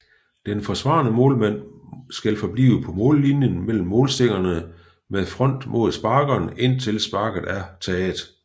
Den forsvarende målmand skal forblive på mållinjen mellem målstængerne med front mod sparkeren indtil sparket er taget